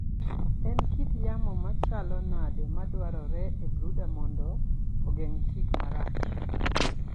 En kit yamo machalo nade madwarore e brooder mondo ogeng tik marach?